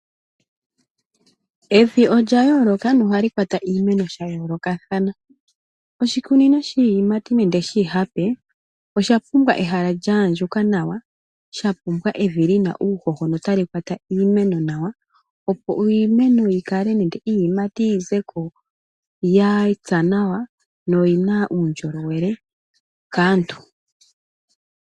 Evi olyayooloka na ohali kwata iimeno shaayoolokathana. Oshikunino shiiyimati nenge shiihape oshapumbwa ehala lyahandjuka nawa, shapumbwa evi lina uuhoho na otali kwata iimeno nawa opo iimeno yikale nenge iiyimati yizeko yapya nawa na oyina uundjolowele kaantu.